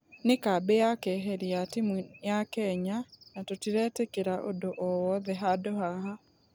Nĩ kambĩ ya keheri ya timũ ya kenya na tũtiretekĩra ũndũ ũũ wothe handũ haha.